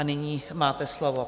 A nyní máte slovo.